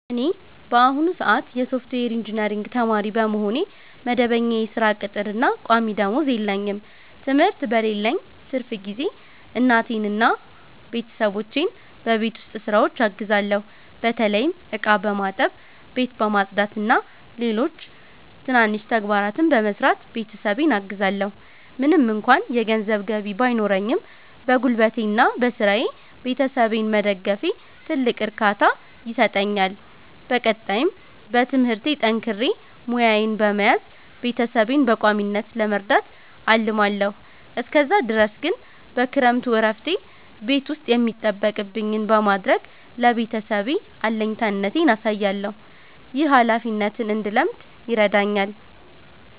እኔ በአሁኑ ሰአት የሶፍትዌር ኢንጂነሪንግ ተማሪ በመሆኔ፣ መደበኛ የሥራ ቅጥርና ቋሚ ደመወዝ የለኝም። ትምህርት በሌለኝ ትርፍ ጊዜ እናቴንና ቤተሰቦቼን በቤት ውስጥ ሥራዎች አግዛለሁ። በተለይም ዕቃ በማጠብ፣ ቤት በማጽዳትና ሌሎች ትናንሽ ተግባራትን በመስራት ቤተሰቤን አግዛለዎ። ምንም እንኳ የገንዘብ ገቢ ባይኖረኝም፣ በጉልበቴና በሥራዬ ቤተሰቤን መደገፌ ትልቅ እርካታ ይሰጠኛል። በቀጣይም በትምህርቴ ጠንክሬ ሙያዬን በመያዝ ቤተሰቤን በቋሚነት ለመርዳት አልማለዎ። እስከዛ ድረስ ግን በክረምቱ እረፍቴ ቤት ውስጥ የሚጠበቅብኝን በማድረግ ለቤተሰቤ አለኝታነቴን አሳያለሁ። ይህ ኃላፊነትን እንድለምድ ይረዳኛል።